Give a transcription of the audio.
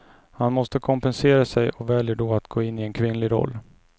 Han måste kompensera sig och väljer då att gå in i en kvinnlig roll.